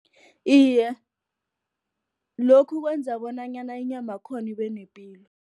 Iye, lokhu kwenza bonanyana inyama yakhona ibe nepilo.